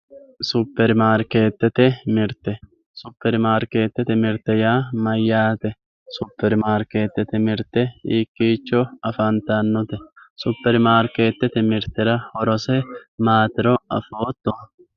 Supermaariketete mirte, supermaariketete mirte yaa mayate, supermaariketete mirte hiikicho afantanote, supermaariketete mirtera horose maatiro afooto